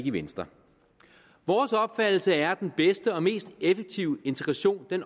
i venstre vores opfattelse er at den bedste og mest effektive integration